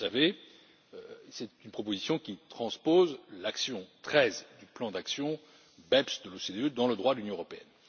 Vous le savez, c'est une proposition qui transpose l'action 13 du plan d'action BEPS de l'OCDE dans le droit de l'Union européenne.